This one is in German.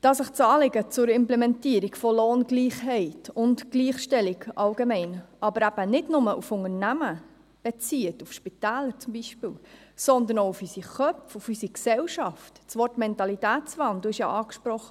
Dass sich das Anliegen zur Implementierung von Lohngleichheit und Gleichstellung allgemein nicht nur auf Unternehmen bezieht, auf Spitäler zum Beispiel, sondern auch auf unsere Köpfe, auf unsere Gesellschaft ... Das Wort Mentalitätswandel wurde angesprochen.